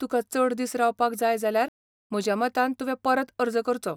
तुका चड दीस रावपाक जाय जाल्यार म्हज्या मतान तुवें परत अर्ज करचो.